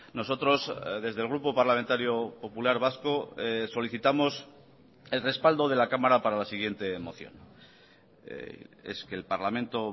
nosotros desde el grupo parlamentario popular vasco solicitamos el respaldo de la cámara para la siguiente moción es que el parlamento